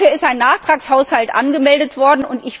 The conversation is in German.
Dafür ist ein Nachtragshaushalt angemeldet worden.